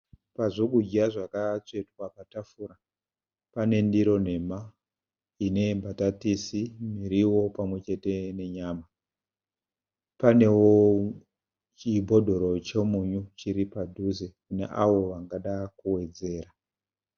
Pazvokudya zvakatsvetwa patafura. Pane ndiro nhema ine mbatatisi, miriwo pamwe chete nenyama. Panewo chibhodhoro chemunyu chiri padhuze kune avo vangada kuwedzera.